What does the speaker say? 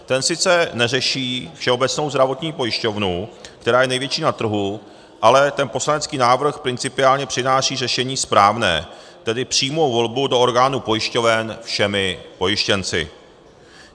Ten sice neřeší Všeobecnou zdravotní pojišťovnu, která je největší na trhu, ale ten poslanecký návrh principiálně přináší řešení správné, tedy přímou volbu do orgánů pojišťoven všemi pojištěnci.